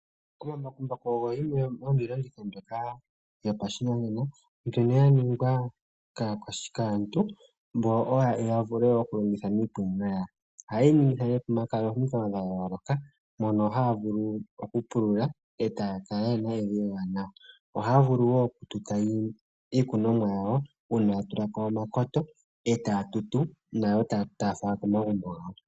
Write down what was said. Omambakumbaku ogo yimwe yomiilongitho mbyoka yopashinanena mbyono ya ningwa kaantu ya vule wo oku longitha miikunino yawo. Ohaye yi ningitha miilonga ya yooloka mono haya vulu oku pulula e ta ya kala ye na evi ewanawa. Ohaya vulu wo oku tuta iikunomwa yawo uuna ya tulako omakoto e ta ya tutu nayo taya fala komagumbo gawo.